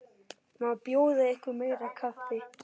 Má bjóða ykkur meira kaffi?